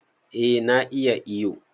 Eh na iya iyo